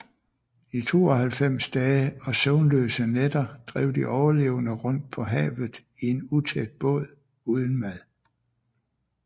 I 92 dage og søvnløse nætter drev de overlevende rundt på havet i en utæt båd uden mad